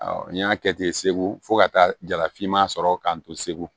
n y'a kɛ ten segu fo ka taa jalafima sɔrɔ k'an to segu